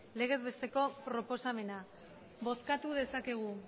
legez besteko proposamena bozkatu dezakegu